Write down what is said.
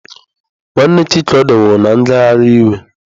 Nwanne Chikodi nwụrụ na ngagharị iwe